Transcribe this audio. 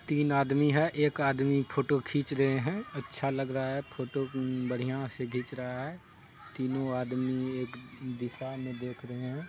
तीन आदमी है एक आदमी फोटो खीच रहे है अच्छा लग रहा है फोटो बढ़िया से घिच रहा है तीनो आदमी एक दिशा मे देख रहे है।